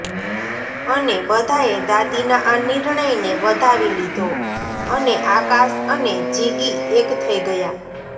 અને બધાએ દાદીના આ નિર્ણય ને વધાવી લીધો અને આકાશ અને જીગી એક થઈ ગયા